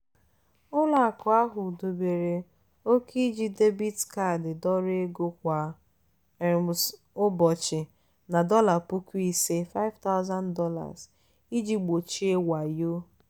ụlọakụ ahụ dobere ókè iji debiit kaadi dọrọ ego kwa ụbọchị na dollar puku ise ($5000) iji gbochie wayo.